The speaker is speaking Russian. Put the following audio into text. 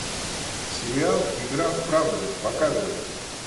сериал игра в правду показывай